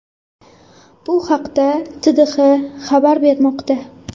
Bu haqda TDH xabar bermoqda .